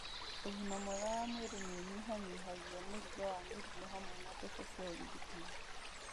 Ũgima mwega wa mwĩrĩ nĩ ũnyihanyihagia mũrigo wa mĩrimũ hamwe na mbeca cia ũrigitani.